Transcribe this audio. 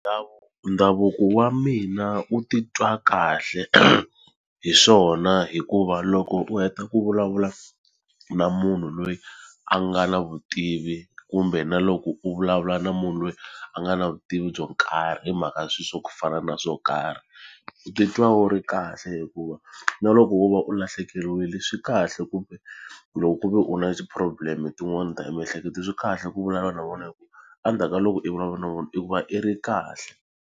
Ndhavuko wa mina u titwa kahle hi swona hikuva loko u heta ku vulavula na munhu loyi a nga na vutivi kumbe na loko u vulavula na munhu loyi a nga na vutivi byo karhi hi mhaka swilo swa ku fana na swo karhi titwa wu ri kahle hikuva na loko wo va u lahlekeriwile swi kahle kumbe ku loko ku ve u na ti-problem tin'wana ta emiehleketweni swi kahle ku vulavula na vona hi ku endzhaku ka loko i vulavula na vona i ku va i ri kahle.